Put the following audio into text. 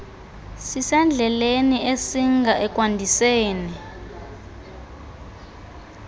sisendleleni esinga ekwandiseni